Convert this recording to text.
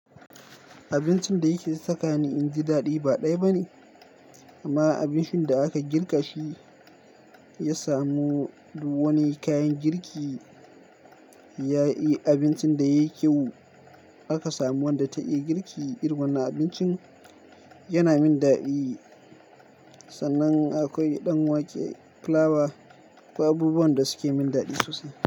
Abincin da kike sakani inji daɗi ba ɗaya bane, amma abincin da aka girka shi ya samu wani kayan girki ya yi abincin da yayi kyau. Aka samu wanda ta iya girki irin wannan abincin yana min daɗi. Sannan akwai ɗanwake, fulawa akwai abubuwan da suke min daɗi sosai.